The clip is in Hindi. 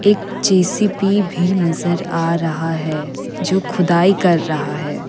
एक जे_सी_बी भी नजर आ रहा है जो खुदाई कर रहा है।